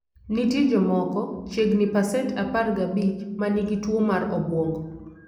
Nitie jomoko (chiegni pasent 15) ma nigi tuwo mar obwongo.